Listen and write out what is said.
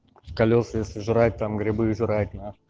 колеса если жрать там грибы жрать нах